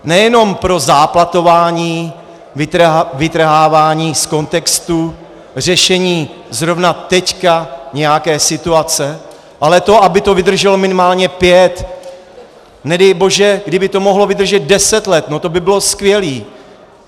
Nejenom pro záplatování, vytrhávání z kontextu, řešení zrovna teď nějaké situace, ale to, aby to vydrželo minimálně pět, nedej bože, kdyby to mohlo vydržet deset let, no to by bylo skvělé.